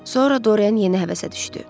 Sonra Dorian yeni həvəsə düşdü.